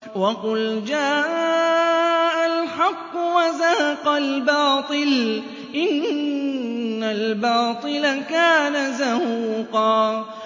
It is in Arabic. وَقُلْ جَاءَ الْحَقُّ وَزَهَقَ الْبَاطِلُ ۚ إِنَّ الْبَاطِلَ كَانَ زَهُوقًا